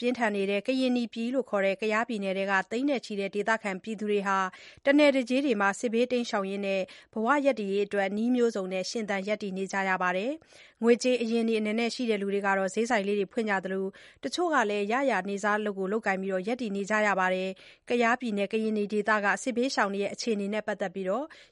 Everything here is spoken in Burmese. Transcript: ပြင်းထန်နေတဲ့ ကရင်နီပြည်ခေါ် ကယားပြည်နယ်က သိန်းနဲ့ ချီတဲ့ ဒေသခံတွေဟာ တနယ်တကြေးမှာ စစ်ဘေးတိမ်းရှောင်ရင်း ဘဝရပ်တည်ရေးအတွက် နည်းမျိုးစုံနဲ့ ရှင်သန် ရပ်တည်နေကြပါတယ်။ ငွေကြေးအရင်းအနှီး အနည်းငယ်ရှိသူကတော့ စျေးဆိုင်လေးတွေ ဖွင့်ကြသလို တချို့ကတော့ ရရာ နေ့စားအလုပ် လုပ်ကိုင်ပြီး ရပ်တည်နေကြရတာပါ။ ကယားပြည်နယ်က စစ်ဘေးရှောင်တွေရဲ့ အခြေအနေနဲ့ ပတ်သတ်ပြီး